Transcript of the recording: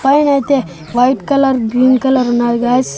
పైనైతే white colour green colour ఉన్నాయి guys .